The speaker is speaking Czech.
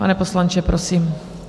Pane poslanče, prosím.